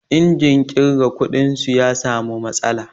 Injin ƙirga kuɗin su ya samu matsala.